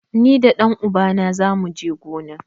Ni da ɗan uba na zamu je gona.